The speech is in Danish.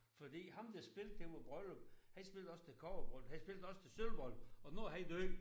Fordi ham der spillede til vores bryllup han spillede også til kobberbryllup han spillede også til sølvbryllup og nu er han død